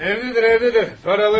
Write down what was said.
Evdədir, evdədir.